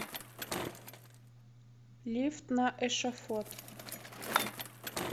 лифт на эшафот